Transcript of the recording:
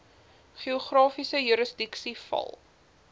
geografiese jurisdiksie val